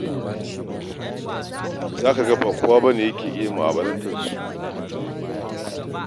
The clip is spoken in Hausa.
Za ka ga ba kowa ne yake iya mu'amulantar su ba.